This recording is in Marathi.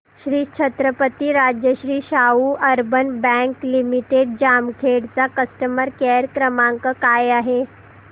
Shri Chhatrapati Rajshri Shahu urban bank limited Jamkhed चा कस्टमर केअर क्रमांक काय आहे